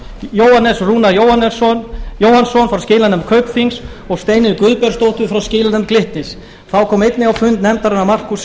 jóhannes rúnar jóhannsson frá skilanefnd kaupþings og steinunni guðbjartsdóttur frá skilanefnd glitnis þá kom einnig á fund nefndarinnar markús